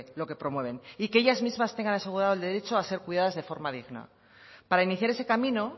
lo que promueven y que ellas mismas tengan asegurado el derecho a ser cuidadas de forma digna para iniciar ese camino